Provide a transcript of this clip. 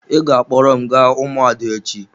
Ị ga-akpọrọ m gaa ụmụada echi.